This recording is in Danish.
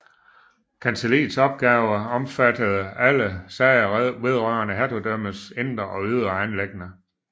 Kancelliets opgaver omfattede alle sager vedrørende hertugdømmernes indre og ydre anliggender